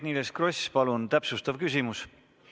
Eerik-Niiles Kross, palun täpsustav küsimus!